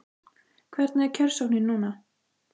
Hvernig er kjörsóknin núna?